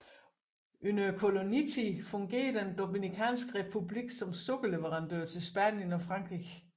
Under kolonitiden fungerede den Dominikanske Republik som sukkerleverandør til Spanien og Frankrig